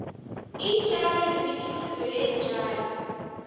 iintjalo nemikhiqizo yeentjalo